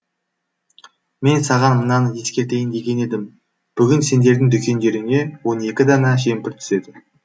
мен саған мынаны ескертейін деген едім бүгін сендердің дүкендеріңе он екі дана жемпір түседі